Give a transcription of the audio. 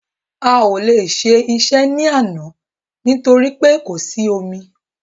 A o le ṣe iṣẹ́ ní àná torí pé kò sí omi